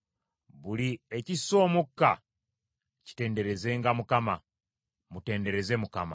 Buli ekissa omukka kitenderezenga Mukama ! Mutendereze Mukama .